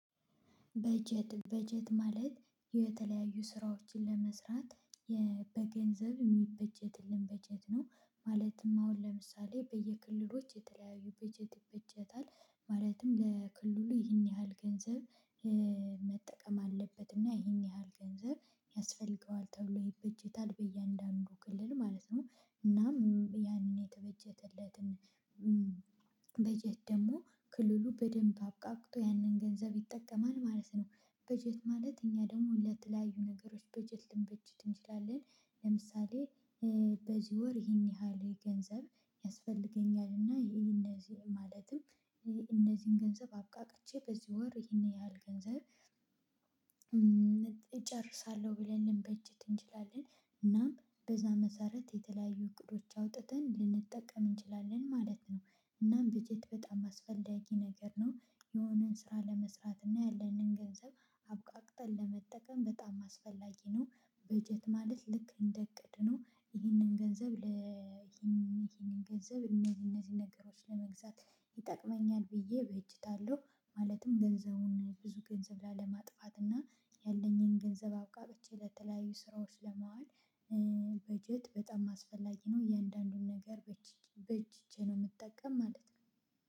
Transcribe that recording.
በጀት በጀት ማለት የተለያዩ ስራዎችን ለመስራት በገንዘብ እሚበጀትልን በጀት ነው። ማለትም አሁን ለምሳሌ በየክልሎች የተለያዩ በጀት ይበጀታል ማለትም ለክልሉ ይህን ያህል ገንዘብ። መጠቀም አለበት እና ይህን ያህል ገንዘብ ያስፈልገዋል ተብሎ ይበጀታል በእያንዳንዱ ክልል ማለት ነው። እናም ያንን የተበጀተለትን ለትን። በጀት ደግሞ ክልሉ በደንብ አብቃቅቶ ያንን ገንዘብ ይጠቀማል ማለት ነው። በጀት ማለት እኛ ደሞ ለተለያዩ ነገሮች በጀት ልንበጀት እንችላለን። ለምሳሌ በዚህ ወር ይሄን ያህል ገንዘብ ያስፈልገኛል እና ይሄ እነዚህ ማለትም እነዚህን ገንዘብ አብቃቅቼ በዚህ ወር ይሄን ያህል ገንዘብ እጨርሳለሁ ብለን ልንበጅት እንችላለን። እና በዚህ መሰረት የተለያዩ እቅዶች አውጥተን ልንጠቀም እንችላለን ማለት ነው። እናም በጀት በጣም አስፈላጊ ነገር ነው። የሆነን ስራ ለመስረት እና ያለንን ገንዘብ አብቃቅተን ለመጠቀም በጣም አስፈላጊ ነው። በጀት ማለት ልክ እደ እቅድ ነው ይህንን ገንዘብ። ይህንን ገንዘብ እነዚህ እነዚህ ነገሮች ለመግዛት ይጠቅመኛል ብዬ በእጅታለሁ። ማለትም ገንዘቡን ብዙ ገንዘብ ላለማጥፋት እና ያለኝን ገንዘብ አብቃብቼ ለተለያዩ ስራዎች ለመዋል። በጀት በጣም አስፈላጊ ነው እያንዳንዱን ነገር በእጅቼ ነው እምጠቀም ማለት ነው።